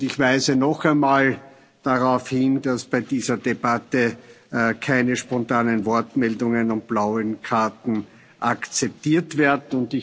Ich weise noch einmal darauf hin, dass bei dieser Debatte keine spontanen Wortmeldungen und blauen Karten akzeptiert werden.